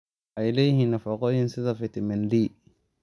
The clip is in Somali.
Waxay leeyihiin nafaqooyin sida fitamiin D.